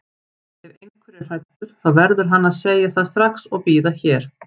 Ef einhver er hræddur þá verður hann að segja það strax og bíða hér.